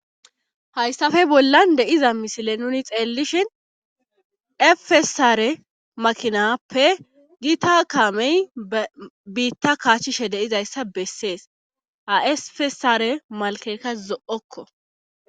hayssafe bollan deiza misile nuni xeellishhin efesaare makinappe gita kamey biitta kaachchishe deizayssa bessees asfesare malkeeka zo7okko